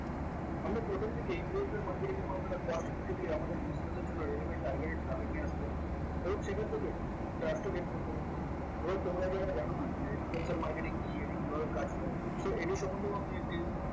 আমরা প্রথমদিকেই influencer marketing এর মাধ্যমে দিয়ে আমাদের business এর জন্য ready mabe targeted traffic নিয়ে আসতে পারব এবং সেখান থেকে trust ও gain করতে পারব এবার তোমরা যারা জানোনা যে influencer marketing কি এটি কিভাবে কাজ করে so এটি সম্বন্ধেও আমি একটি